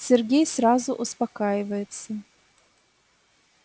сергей сразу успокаивается